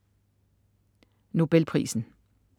Nobelprisen